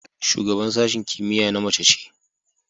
Shugaban sashen kimiyya na mace ce.